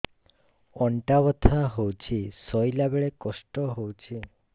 ଅଣ୍ଟା ବଥା ହଉଛି ଶୋଇଲା ବେଳେ କଷ୍ଟ ହଉଛି